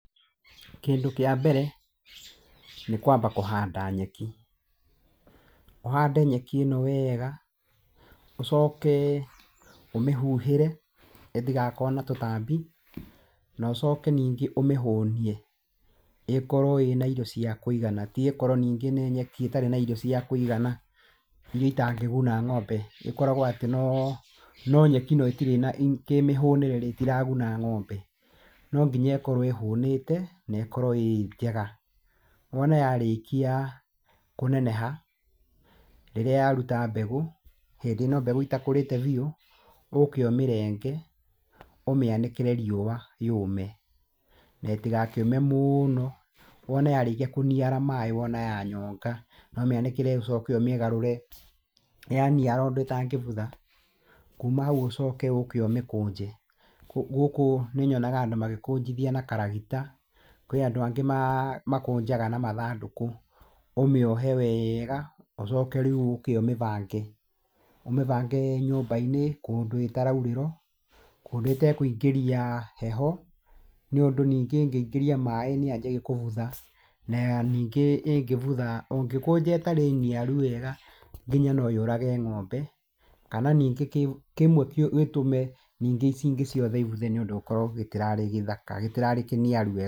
Kĩndũ kĩa mbere nĩ kwamba kũhanda nyeki, ũhande nyeki ĩno wega, ũcoke ũmĩhuhĩre ĩtigakorwo na tũtambi, na ũcoke ningĩ ũmĩhũnie, ĩkorwo ĩna irio cia kũigana, ti ĩkorwo nĩ nyeki ĩtarĩ na irio cia kũigana ĩrĩa ĩtangĩguna ng'ombe, ĩkoragwo atĩ no nyeki no ĩtirĩ na kĩmĩhũnĩre-rĩ, ĩtiraguna ng'ombe. No nginya ĩkorwo ĩhũnĩte, na ĩkorwo ĩĩ njega. Wona yarĩkia kũneneha, rĩrĩa yaruta mbegũ, hĩndĩ ĩno mbegũ itakũrĩte biũ, ũke ũmĩrenge, ũmĩanĩkĩre riũa yũme na ĩtigakĩũme mũno, wona yarĩkia kũniara maĩ wona yanyonga, no ũmĩanĩke ũcoke ũmĩgarũre, yaniara ũndũ ĩtangĩbutha, kuma hau ũcoke ũke ũmĩkũnje. Gũkũ nĩ nyonaga andũ magĩkũnjithia na karagita, kwĩ na andũ angĩ makũnjaga na mathandũkũ, ũmĩohe wega, ũcoke rĩu ũke ũmĩbange, ũmĩbange nyũmba-inĩ, kũndũ ĩtaraurĩrwo kũndũ ĩtekũingĩria heho, nĩũndũ ningĩ ĩngĩingĩria maĩ nĩ yanjagia gũbutha na ningĩ ĩngĩbutha, ũngĩkũnja ĩtarĩ niaru wega, nginya no yũrage ng'ombe kana ningĩ kĩmwe gĩtũme ningĩ ici ingĩ ciothe ibuthe nĩ ũndũ ũkore gĩtirarĩ gĩthaka, gĩtirarĩ kĩniaru wega.